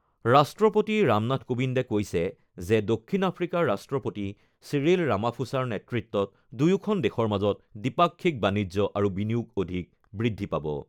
ৰাষ্ট্ৰপতি ৰামনাথ কোবিন্দে কৈছে যে, দক্ষিণ আফ্ৰিকাৰ ৰাষ্ট্ৰপতি চিৰিল ৰামাফোছাৰ নেতৃত্বত দুয়োখন দেশৰ মাজৰ দ্বিপাক্ষিক বাণিজ্য আৰু বিনিয়োগ অধিক বৃদ্ধি পাব।